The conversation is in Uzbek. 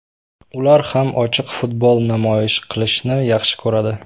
Ular ham ochiq futbol namoyish qilishni yaxshi ko‘radi.